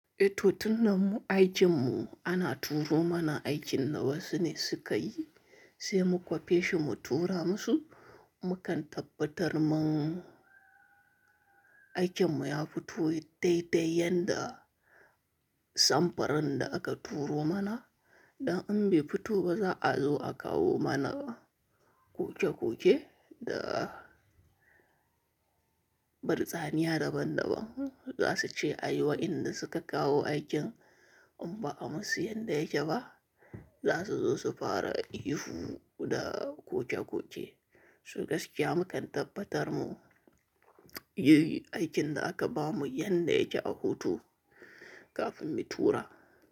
Eh to tunda mu aikin mu ana turo mana aikin na wasu ne suka yi, sai mu kwafeshi mu tura musu. Mukan tabbatar man aikin mu ya fito daidai yanda samfurin da aka turo mana. Dan in bai fito ba za a zo a kawo mana kukekuke da bartsaniya daban-daban. Za su ce a yi wa inda suka kawo aikin in ba a musu yadda yake ba, za su zo su fara yihu da kokekoke. So gaskiya mukan tabbatar mu yayi aikin da aka ba mu yanda yake a hutu kafin mu tura.